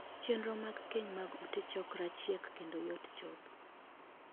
Chenro mag keny mag ute 'chokra' chiek kendo yot chopo.